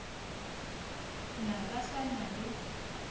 na ba sa na le